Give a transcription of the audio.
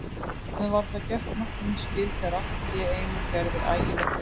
Við höfðum varla gert matnum skil þegar allt í einu gerði ægilegt veður.